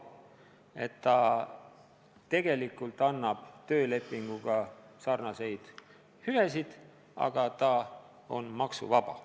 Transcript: Nii et tegelikult see annab töölepinguga sarnaseid hüvesid, aga on ka maksuvaba.